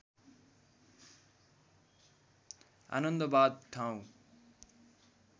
आनन्दबाघ ठाउँ